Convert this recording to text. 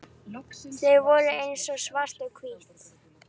Þau voru eins og svart og hvítt.